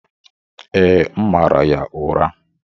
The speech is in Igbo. Ee, m mara ya ụra.